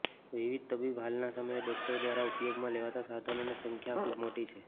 વિવિધ તબીબી હાલના સમયે ડોક્ટરો દ્વારા ઉપયોગમાં લેવાતા સાધનોને સંખ્યા ખૂબ મોટી છે